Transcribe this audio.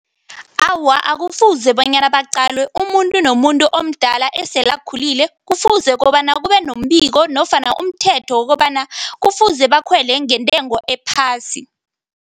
Awa, akufuze bonyana baqalwe. Umuntu nomuntu omdala esele akhulile, kufuze kobana kube nombiko nofana umthetho wokobana kufuze bakhwele ngentengo ephasi.